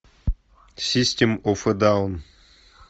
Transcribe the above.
систем оф э даун